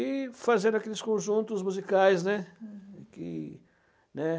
E fazendo aqueles conjuntos musicais, né. Uhum, que, né.